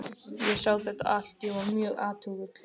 Ég sá þetta allt- ég var mjög athugull.